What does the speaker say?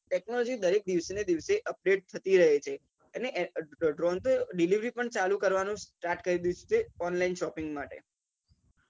technology હવે દિવસે ને દિવસે update થતી રહે છે અન drone તો delivery પણ ચાલુ start કરી દીધું છે કે online shopping માટે